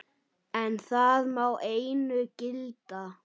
En það má einu gilda.